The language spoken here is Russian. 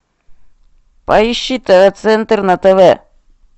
поищи тв центр на тв